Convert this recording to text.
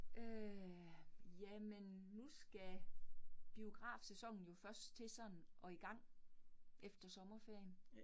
Øh jamen nu skal biografsæsonen jo først til sådan at i gang efter sommerferien